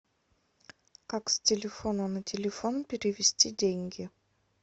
как с телефона на телефон перевести деньги